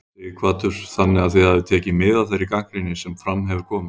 Sighvatur: Þannig að þið hafið tekið mið af þeirri gagnrýni sem fram hefur komið?